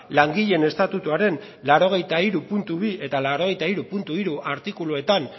langileen estatutuaren laurogeita hiru puntu bi eta laurogeita hiru puntu hiru artikuluetan